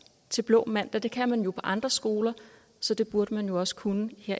til blå mandag det kan man på andre skoler så det burde man jo også kunne